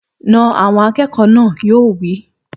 Na àwọn akẹ́kọ̀ọ́ náà! Yóò wí.